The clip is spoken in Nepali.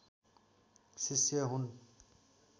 शिष्य हुन्